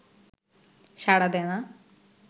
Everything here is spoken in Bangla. সাড়া দেয় না